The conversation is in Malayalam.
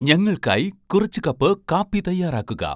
ഞങ്ങൾക്കായി കുറച്ച് കപ്പ് കാപ്പി തയ്യാറാക്കുക